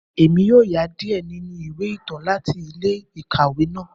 Emi yoo ya diẹ ninu iwe itan lati ile-ikawe naa.